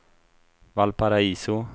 Valparaiso